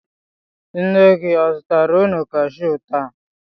Nne gị o zụtara unu kashiu taa?